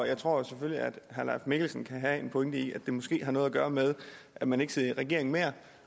jeg tror selvfølgelig at herre mikkelsen kan have en pointe i at det måske har noget at gøre med at man ikke sidder i regeringen mere